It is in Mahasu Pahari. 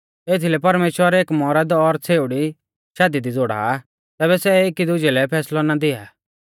एथीलै परमेश्‍वर एक मौरद और छ़ेउड़ी शादी दी ज़ोड़ा आ तैबै सै एकी दुजै लै फैसलौ ना दिया